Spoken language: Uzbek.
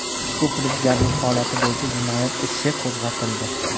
Ushbu firibgarlik holati bo‘yicha jinoyat ishi qo‘zg‘atildi.